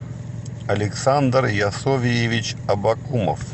александр ясовьевич абакумов